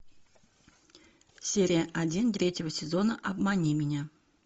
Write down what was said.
серия один третьего сезона обмани меня